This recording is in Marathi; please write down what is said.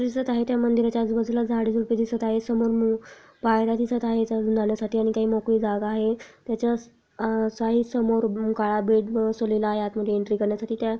दिसत आहे त्या मंदिराच्या आजू बाजूला झाडे झुडपे दिसत आहैत समोर मो पायर्‍या दिसत आहेत जाण्यासाठी काही मोकळी जागा आहै त्याच्यास आ साई समोर ओम गाळा बसवलेला आत मध्ये एंट्री करण्या साठी त्या--